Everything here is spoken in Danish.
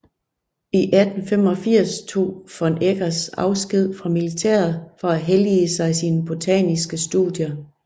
I 1885 tog von Eggers afsked fra militæret for at hellige sig botaniske studier